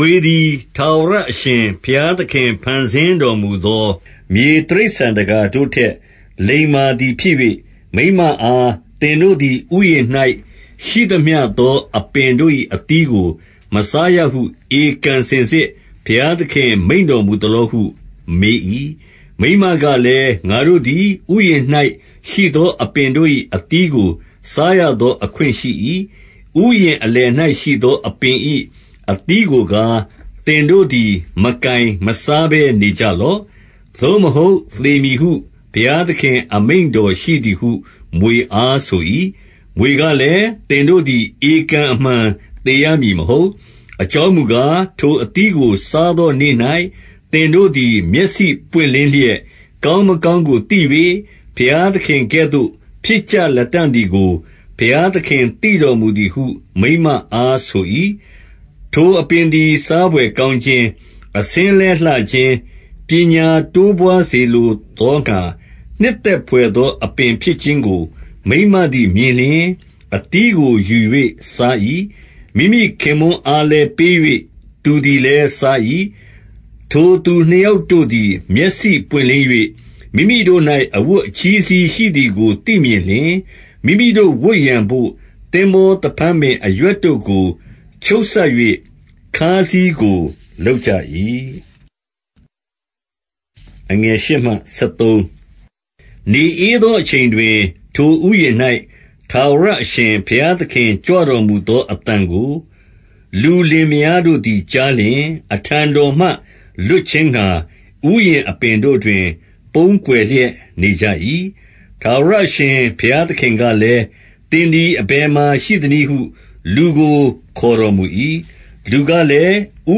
ွေသည် ထာဝရအရှင်ဘုရားသခင် ဖန်ဆင်းတော်မူသော မြေတိရစ္ဆာန်သကာတို့ထက် လိမ္မာသည် ဖြစ်၍၊ မိန်းမအား သင်တို့သည် ဥယျာဉ်၌ရှိသမျှသောအပင်တို့၏ အသီးကိုမစားရဟု ဧကန်စင်စစ် ဘုရား သခင်မိန့်တော်မူသလောဟု မေး၏။ မိန်းမကလည်း၊ ငါတို့သည် ဥယျာဉ်ရှိသော အပင်တို့၏ အသီးကိုစားရသော အခွင့်ရှိ၏။ ဥယျာဉ်အလယ်၌ရှိသော အပင်၏အသီးကိုကား၊ သင်တို့သည် မကိုင်မစားပဲ နေကြလော့၊ သို့မဟုတ် သေမည်ဟု ဘုရားသခင် အမိန့်တော်ရှိသည်ဟု မြွေအားဆို၏။ မြွေကလည်း သင်တို့သည် ဧကန်အမှန် သေရမည်မဟုတ်၊ အကြောင်းမူကား၊ ထိုအသီးကိုစားသောနေ့၌ သင်တို့သည် မျက်စိပွင့်လင်းလျက် ကောင်းမကောင်းကို သိ၍၊ ဘုရားသခင်ကဲ့သို့ ဖြစ်ကြ လတံ့သည်ကို၊ ဘုရားသခင်သိတော်မူသည်ဟု မိန်းမအားဆို၏။ ထိုအပင်သည် စားဘွယ်ကောင်းခြင်း၊ အဆင်းလည်းလှခြင်း၊ ပညာတိုးပွားစေလိုသောငှါ၊ နှစ်သက် ဖွယ်သော အပင်ဖြစ်ခြင်းကို မိန်းမသည် မြင်လျှင်၊ အသီးကို ယူ၍စား၏။ မိမိခင်ပွန်းအားလည်း ပေး၍ သူသည်လည်း စား၏။ ထိုသူနှစ်ယောက်တို့သည် မျက်စိပွင့်လင်း၍ မိမိတို့၌ အဝတ်အချည်းစည်းရှိသည်ကို သိမြင်လျှင်၊ မိမိတို့ ဝတ်ရန်ဖို့ သင်္ဘောသဖန်းပင်အရွက်တို့ကို ချုပ်စပ်၍ ခါးစည်းကိုလုပ်ကြ၏။ နေဧသောအချိန်တွင်၊ ထိုဥယျာဉ်၌ ထာဝရအရှင်ဘုရားသခင် ကြွတော်မူသောအသံကို လုလင်မယားတို့သည် ကြားလျှင်၊ အထံတော်မှ လွတ်ခြင်းငှါ၊ ဥယျာဉ်အပင် တို့တွင် ပုန်းကွယ်လျက် နေကြ၏။ ထာဝရအရှင် ဘုရားသခင်ကလည်း၊ သင်သည် အဘယ်မှာရှိသနည်းဟု၊ လူကိုခေါ်တော်မူ၏။ လူကလည်း ဥ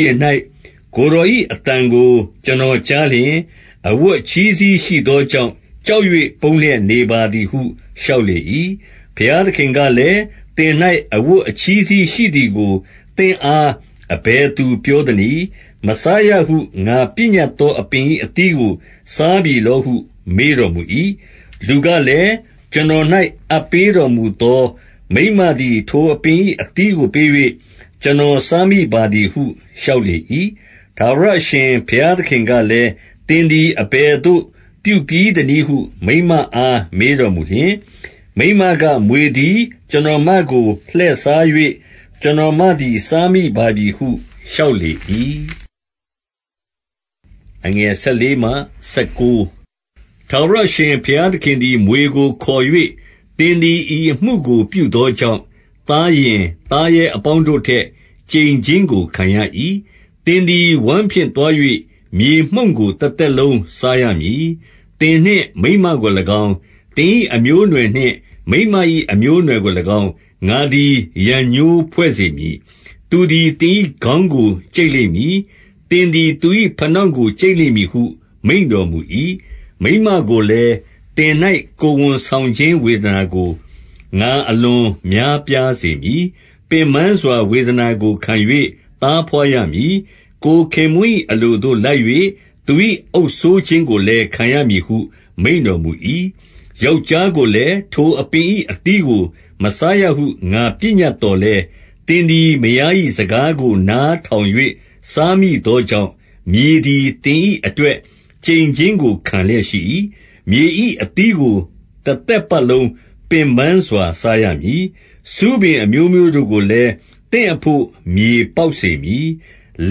ယျာဉ်၌ကိုယ်တော်၏ အသံကို ကျွန်တော်ကြားလျှင်၊ အဝတ်အချည်းစည်းရှိသောကြောင့်၊ ကြောက်၍ပုန်းလျက်နေပါသည်ဟု လျှောက်လေ၏။ ဘုရားသခင်ကလည်း၊ သင်၌ အဝတ်အချည်းစည်းရှိသည်ကို သင်အားအဘယ်သူပြောသနည်း။ မစားရဟု ငါပညတ်သော အပင်၏အသီးကို စားပြီလောဟု မေးတော်မူ၏။ လူကလည်း ကျွန်တော်၌ အပ်ပေးတော်မူသော မိန်းမသည် ထိုအပင်၏အသီးကိုပေး၍ ကျွန်တော်စားမိပါသည်ဟု လျှောက်လေ၏။ ထာဝရအရှင်ဘုရားသခင်ကလည်း၊ သင်သည် အဘယ်သို့ပြုပြီးသနည်းဟု မိန်းမအားမေးတော်မူလျှင်၊ မိန်းမက မြွေသည် ကျွန်တော်မကို လှည့်စား၍၊ ကျွန်တော်မသည်စားမိပါပြီဟု လျှောက်လေ၏။ ထာဝရအရှင်ဘုရားသခင်သည် မြွေကိုခေါ်၍ သင်သည် ဤအမှုကို ပြုသောကြောင့် သားယဉ်သားရဲ အပေါင်းတို့ထက် ကျိန်ခြင်းကို ခံရ၏။ သင်သည် ဝမ်းဖြင့် သွား၍ မြေမှုန့်ကို တသက်လုံးစားရမည်။ သင်နှင့်မိန်းမကို၎င်း၊ သင်၏အမျိုးအနွယ်နှင့် မိန်းမ၏ အမျိုးအနွယ်ကို၎င်း၊ ငါသည်ရန်ငြိုးဖွဲ့စေမည်။ သူသည် သင်၏ခေါင်းကို ကြိတ်လိမ့်မည်၊ သင်သည် သူ၏ဖနောင့်ကို ကြိတ်လိမ့်မည်ဟု မိန့်တော်မူ၏။ မိန်းမကိုလည်း၊ သင်၌ကိုယ်ဝန်ဆောင်ခြင်း ဝေဒနာကို ငါအလွန်များပြားစေရမည်။ ပင်ပန်းစွာ ဝေဒနာကို ခံ၍သားဘွားရမည်။ ကိုယ်ခင်ပွန်း၏ အလိုသို့လိုက်၍ သူ၏အုပ်စိုးခြင်းကိုလည်း ခံရမည်ဟု မိန့် တော်မူ၏။ ယောက်ျားကိုလည်း၊ ထိုအပင်၏အသီးကို မစားရဟု ငါပညတ်သော်လည်း၊ သင်သည်မယား၏ စကားကိုနားထောင်၍ စားမိသောကြောင့်၊ မြေသည် သင်၏အတွက် ကျိန်ခြင်းကို ခံလျက်ရှိ၏။ မြေ၏အသီးကို တသက်ပတ်လုံးပင်ပန်းစွာ စားရမည်။ ဆူးပင်အမျိုးမျိုးတို့ကိုလည်း သင်အဖို့ မြေပေါက်စေမည်။ လ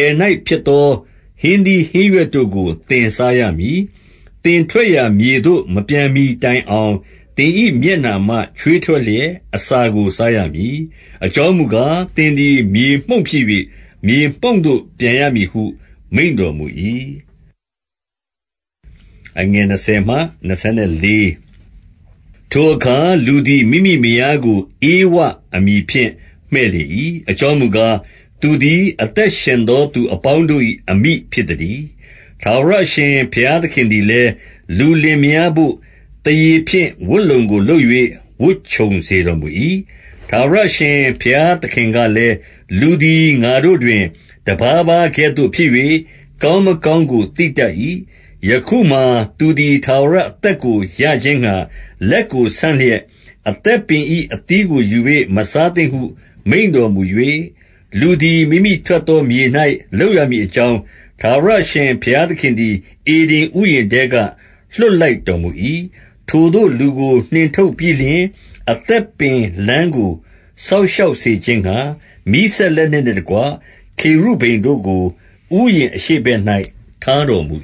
ယ်၌ဖြစ်သော ဟင်းသီးဟင်းရွက်တို့ကို သင် စားရမည်။ သင်ထွက်ရာမြေသို့မပြန်မှီတိုင်အောင်၊ သင်၏ မျက်နှာမှချွေးထွက်လျက် အစာကိုစားရမည်။ အကြောင်းမူကား၊ သင်သည် မြေမှုန့်ဖြစ်၍ မြေမှုန့်သို့ ပြန်ရမည်ဟု မိန့်တော်မူ၏။ ထိုအခါလူသည် မိမိမယားကို ဧဝအမည်ဖြင့် မှည့်လေ၏။ အကြောင်းမူကား၊ သူသည် အသက်ရှင် သော သူအပေါင်းတို့၏ အမိဖြစ်သတည်း။ ထာဝရအရှင် ဘုရားသခင်သည်လည်း လူလင် မယားတို့ သားရေဖြင့် ပတ်လုံကိုလုပ်၍ ဝတ်ခြုံစေတော် မူ၏။ ထာဝရအရှင်ဘုရားသခင်ကလည်း၊ လူသည် ငါတို့တွင် တပါးပါးကဲ့သို့ဖြစ်၍၊ ကောင်းမကောင်း သိတတ်၏။ ယခုမှာ သူသည် ထာဝရအသက်ကို ရခြင်းငှါ၊ လက်ကိုဆန့်လျက် အသက်ပင်၏အသီးကို ယူ၍ မစားသင့်ဟု မိန့်တော်မူ၏။ လူသည် မိမိထွက်သော မြေ၌ လုပ်ရမည်အကြောင်း၊ ထာဝရအရှင်ဘုရားသခင်သည် ဧဒင် ဥယျာဉ်ထဲက လွှတ်လိုက်တော်မူ၏။ ထိုသို့လူကို နှင်ထုတ်ပြီးလျှင်၊ အသက်ပင်လမ်းကို စောင့်ရှောက်စေခြင်းငှါ၊ မီးစင်လက်နက်နှင့်တကွ ခေရုဗိမ်တို့ကို ဥယျာဉ်အရှေ့ဘက်၌ ထားတော်မူ